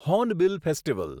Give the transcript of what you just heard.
hornbill festival